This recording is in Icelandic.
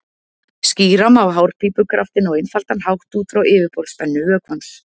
Skýra má hárpípukraftinn á einfaldan hátt út frá yfirborðsspennu vökvans.